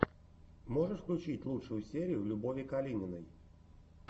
можешь включить лучшую серию любови калининой